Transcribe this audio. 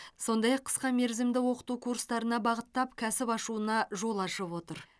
сондай ақ қысқа мерзімді оқыту курстарына бағыттап кәсіп ашуына жол ашып отыр